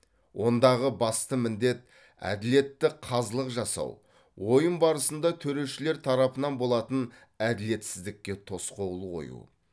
ондағы басты міндет әділетті қазылық жасау ойын барысында төрешілер тарапынан болатын әділетсіздікке тосқауыл қою